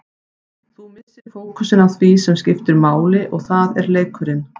Þú missir fókusinn á því sem skiptir máli og það er leikurinn.